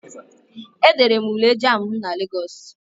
E dere m Ule jamb na Lagos.